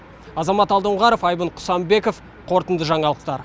азамат алдоңғаров айбын құсанбеков қорытынды жаңалықтар